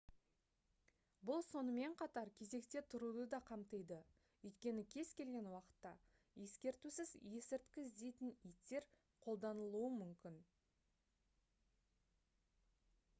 бұл сонымен қатар кезекте тұруды да қамтиді өйткені кез келген уақытта ескертусіз есірткі іздейтін иттер өолданылуы мүмкін